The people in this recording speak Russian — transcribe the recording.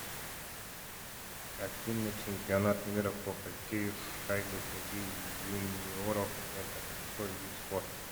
афина чемпионат мира по хоккею с шайбой среди юниоров это какой вид спорта